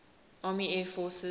army air forces